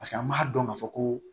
Paseke an m'a dɔn k'a fɔ ko